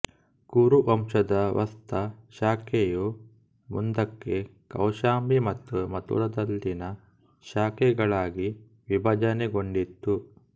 ಕುರು ವಂಶದ ವತ್ಸ ಶಾಖೆಯು ಮುಂದಕ್ಕೆ ಕೌಶಾಂಬಿ ಮತ್ತು ಮಥುರಾದಲ್ಲಿನ ಶಾಖೆಗಳಾಗಿ ವಿಭಜನೆಗೊಂಡಿತು